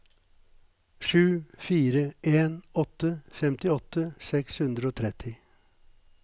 sju fire en åtte femtiåtte seks hundre og tretti